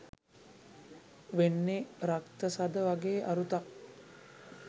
වෙන්නේ “රක්ත සද” වගේ අරුතක්.